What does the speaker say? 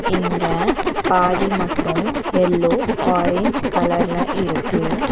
இங்க பாதி மட்டும் எல்லோ ஆரஞ் கலர்ல இருக்கு.